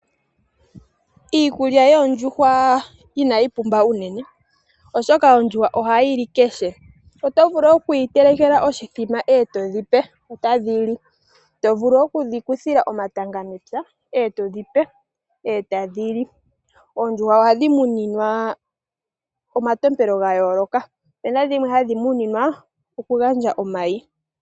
Iikulya yoondjuhwa inayi pumba unene, oshoka ondjuhwa ohayi li kehe. Oto vulu okudhi telekela oshithima e to dhi pe otadhi li. To vulu oku dhi kuthila omatanga mepya e to dhi pe e tadhi li. Oondjuhwa ohadhi muninwa omatompelo ga yooloka. Opu na dhimwe hadhi muninwa okugandja omayi.